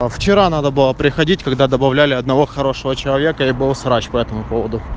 а вчера надо было приходить когда добавляли одного хорошего человека и был срач по этому поводу